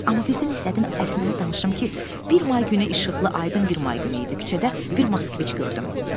Amma birdən istədim Əsmərə danışım ki, bir may günü işıqlı, aydın bir may günü idi küçədə bir Moskvich gördüm.